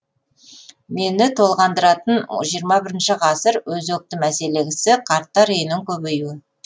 мені толғандыратын жиырма бірінші ғасыр өзекті мәселесі қарттар үйінің көбеюі